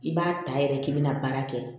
I b'a ta yɛrɛ k'i bɛna baara kɛ